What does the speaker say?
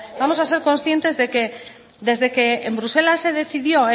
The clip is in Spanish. vamos a ser conscientes desde que en bruselas se decidió